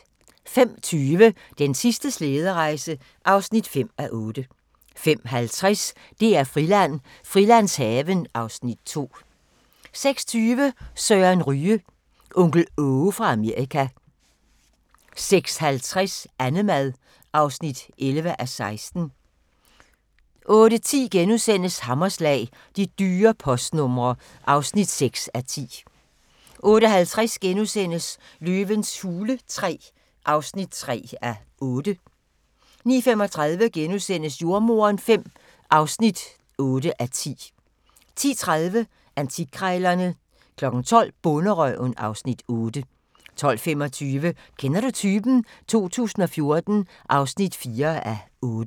05:20: Den sidste slæderejse (5:8) 05:50: DR-Friland: Frilandshaven (Afs. 2) 06:20: Søren Ryge – Onkel Aage fra Amerika 06:50: Annemad (11:16) 08:10: Hammerslag – De dyre postnumre (6:10)* 08:50: Løvens hule III (3:8)* 09:35: Jordemoderen V (8:10)* 10:30: Antikkrejlerne 12:00: Bonderøven (Afs. 8) 12:25: Kender du typen? 2014 (4:8)